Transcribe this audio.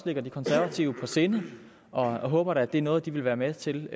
ligger de konservative på sinde og jeg håber da at det er noget de vil være med til